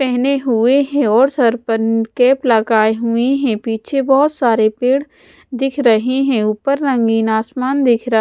पेहने हुए हैं और सर पर कैप लगाए हुए हैं पीछे बहोत सारे पेड़ दिख रहे हैं ऊपर रंगीन आसमान दिख र--